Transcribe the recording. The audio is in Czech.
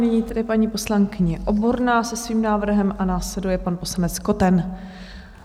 Nyní tedy paní poslankyně Oborná se svým návrhem a následuje pan poslanec Koten.